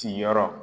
Siyɔrɔ